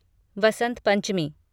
Vasant Panchami